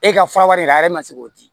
E ka fura wɛrɛ la yɛrɛ ma se k'o di